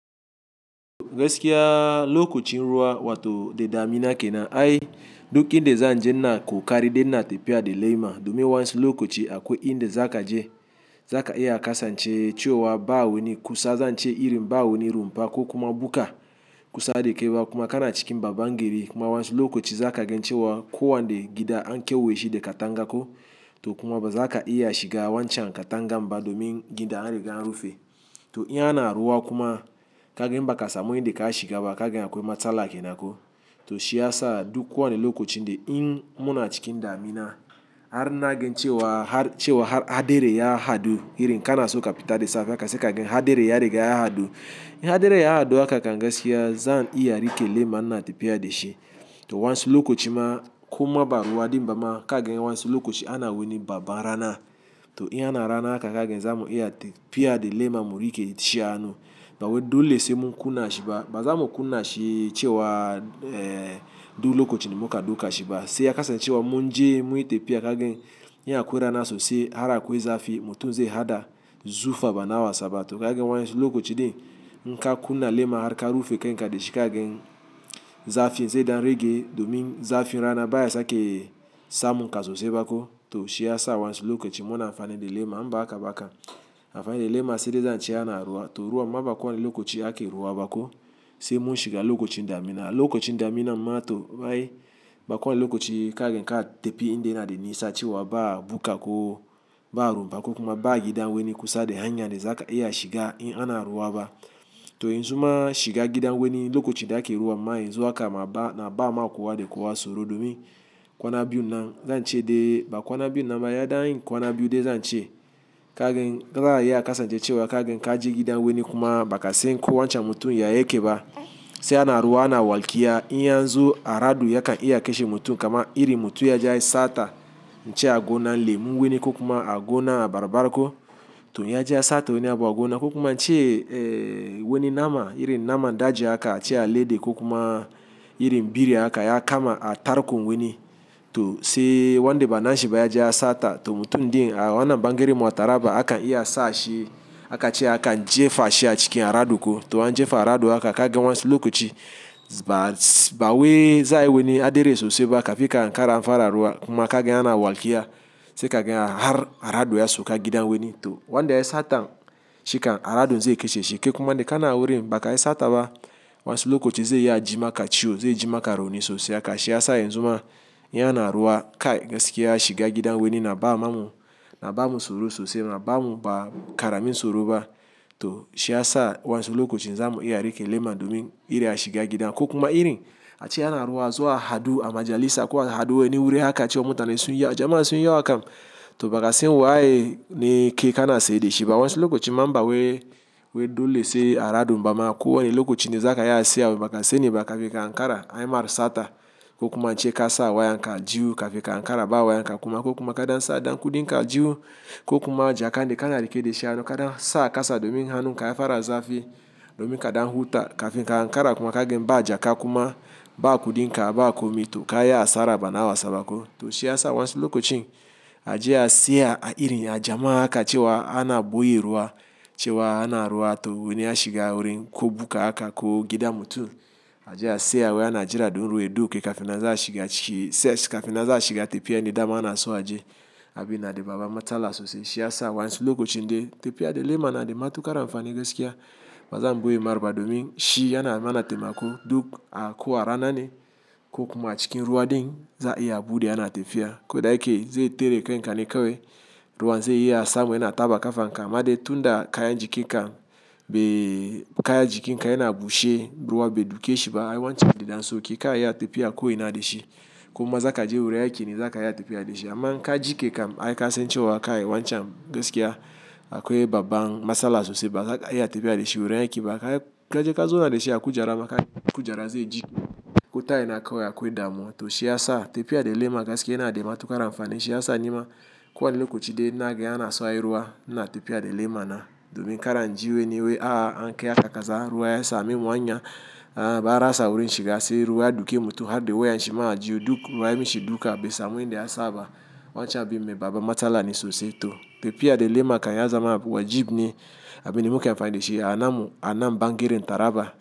Gaskiya lokacin ruwa wato da damina kenan ai duk inda zan je ina koƙari dai ina tafiya da lema domin wansu lokaci akwai inda za ka je za ka iya kasance cewa ba wani kusa zance irin ba wani rumfa ko kuma buka kusa da kai ba kuma kana cikin babban gari kuma wansu lokacin za ka ga cewa kowani gida an kewaye shi da katanga ko to kuma ba za ka iya shiga wancan katangan ba domin gidan anriga an rufe. To in ana ruwa kuma ka ga in baka samu in da ka shiga ba kaga akwai matsala kenan ko. To shi ya sa duk kowane lokaci de in muna cikin damina har na ga cewa har cewa haderi ya hadu irin kana so ka fita da safe ka sai ka ga kan haderi ya riga ya haɗu. In haderi ya hadu haka kam gaskiya zan iya rike lema ina tafiya da shi. To wansi lokacin ma kuma ba ruwa din ba ma ka gan wansi lokacin ana wani babban rana. To in ana rana haka ka ga zamu iya tafiya da lema mu rike da shi a hanu. Ba wai dole se mun kunna shi ba ba za mu kunna shi cewa duk lokacin mu ka duka shiga ba sai ya kasance cewa mun je muyi tafiya ka gai in akwai rana sosai har akwai zafi mutum zai haɗa zufa ba na wasa ba. To ka wayan su lokacin de in ka kunna lema har ka rufe kai ka dashi ka gai zafin zai dan rage ke domin zafin rana baya sake samun ka sosai ba ko to shi ya sa wansi lokacin muna amfani da lema um ba haka ba kam amfani da lema sai dai za ace ana ruwa. To ruwa ma ba kowane lokaci ake ruwa ba ko sai mun shiga lokacin damina. Lokacin damina ma to bai bakone lokacin ka ka tafi inda yana da nisa cewa ba bukka ko ba rumfa ko kuma ba gidan wani kusa da hanya de za ka iya shiga in ana ruwa ba. To yanzu ma shiga gidan wani lokacin da ake ruwa ma yanzu haka ma ba'a ba ma kowa de kowa soro domin kwana biyun nan zan ce de ba kwana biyun nan ba ya dan kwana biyu de zan ce ka gai za a iya kasance cewa ka ka je gidan wani kuma bakan se ko wancan mutum ya yake ba. Sai ana ruwa ana walkiya in ya zo aradu ya kan iya kashe mutum kamar iri mutum ya je yai sata ce gonan lemu wani ko kuma a gona abarbar ko to ya je ya sata wani abu a gona ko kuma ince wani nama irin naman daji ce alade ko kuma irin biri haka ya kama a tarkon wani to sai wanda ba na shi ba ya je ya sata to mutum din a wannan bangaren a taraba akan iya sashi aka ciya akan jefashi a cikin aradu ko to an jefa aradu haka ka gan wansu okaci ba ba waye za'a yi wani hadere sosai ba kafin ka ankara an fara ruwa kuma kaga ana walkiya sai ka ga har haradu ya sauka gidan wani to wanda yai satan shi kan aradun zai kashe shi. Ke kuma de kana wurin bakai sata ba wansu okacin zai iya ji maka ciwo zai ji maka rauni sosai aka shiyasa yanzu yana ruwa kai gaskiya shiga gidan wani na ba ma mu na ba mu soro sosai na ba mu ba karamin soro ba. To shi ya sa wansi lokacin za mu iya rike lema domin iri a shiga gida ko kuma iri a ce ana ruwa zuwa hadu a majalisa kuwa hadu wani wuri aka ciwa mutane sun yi yawa jama'a sunyi yawa kam to bakai san waye ne ke kana saye da shi ba wansi lokacin ma ba waye waye dole sai aradu. Amma kowane lokaci ne za ya siya baka sani ba kafin ka ankara ai ma sata ko kuma ince kasa waya ka ajihu kafin ka ankara ba waya ka kuma ko kuma ka dansa dan kuɗika ajihu ko kuma ja ka de kana rike dashi ya doka da sa kasa domin hannun ka ya fara zafi domin ka ɗan huta kafin ka ankara kuma ka ga ba jaka kuma ba kuɗinka ba ku mi to ka yi asara ba na wasaba ko. To shi ya sa wayansi lokacin aje a siya a irin ya jama'a haka cewa ana ɓoye ruwa cewa ana ruwa to wani ya shiga wurin ko buka haka ko gidan mutum ajiya siya wai ana jira dun ruwa ya duke kafin nan za'a shiga ciki kafinnan za a shiga tafiya ne dama ana so a je abin na da babban matsala sosai. Shi ya sa wayansi lokacin de tafiya da lema na de matuƙar amfani gaskiya ba za mu ɓoye mar ba domin shi yana mana taimako duk a ko rana ne ko kuma cikin ruwa din za'a iya buɗe ana tafiya. Kodai ke zai tare kan kane kawai ruwan zai iya samun yana taɓa kafanka ma de tunda kayan jiki kam be kayan jiki in ka yana bushe ruwa bai duke shi ba ai wancan da ɗan so ki ka iya tafiya ko ina de shi ko kuma za ka je wurin aikine za ka iya tafiya da shi. Amma in ka ji ke kam ai kasance cewa kai wancan gaskiya akwai babban matsala sosai ba za ka iya tafiya da shi wurin yake ba. Kai ka je ka zo na de shi ya kujara maka kujara zai ji ko tayin aka yi akwai damo. To shi ya sa tafiya da lema gaskiya yana de matuƙar amfani. Shiyasa nima kowane lokacin de na ga anso ayi ruwa ina tafiya da lema na domin karan ji wani waye a an kai aka kasa ruwa ya samu hanya a ba rasa wurin shiga sai ruwa ya duke mutum har da wayan shi ma a aljihu duk ruwa ya mishi duka bai samu inda ya saba wancan abin me baban matsala ne sosai. To tafiya da lema kan ya zama abu wajib ne abin da muke amfani da shi a nan mu a nan bangaren taraba.